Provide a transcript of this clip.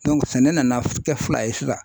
sɛnɛ nana kɛ fila ye sisan.